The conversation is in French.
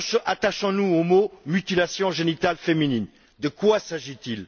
Attachons nous aux mots mutilations génitales féminines. De quoi s'agit il?